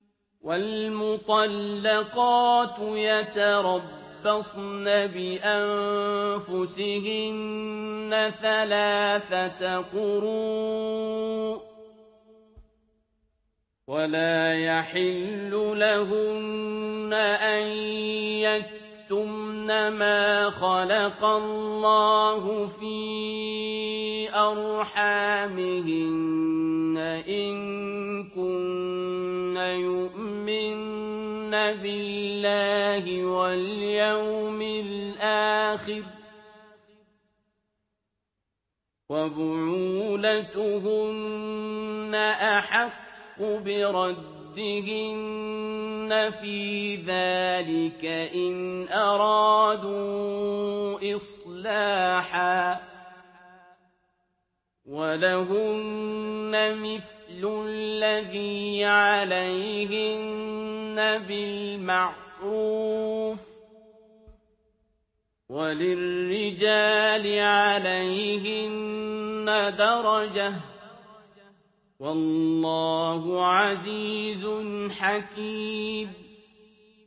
وَالْمُطَلَّقَاتُ يَتَرَبَّصْنَ بِأَنفُسِهِنَّ ثَلَاثَةَ قُرُوءٍ ۚ وَلَا يَحِلُّ لَهُنَّ أَن يَكْتُمْنَ مَا خَلَقَ اللَّهُ فِي أَرْحَامِهِنَّ إِن كُنَّ يُؤْمِنَّ بِاللَّهِ وَالْيَوْمِ الْآخِرِ ۚ وَبُعُولَتُهُنَّ أَحَقُّ بِرَدِّهِنَّ فِي ذَٰلِكَ إِنْ أَرَادُوا إِصْلَاحًا ۚ وَلَهُنَّ مِثْلُ الَّذِي عَلَيْهِنَّ بِالْمَعْرُوفِ ۚ وَلِلرِّجَالِ عَلَيْهِنَّ دَرَجَةٌ ۗ وَاللَّهُ عَزِيزٌ حَكِيمٌ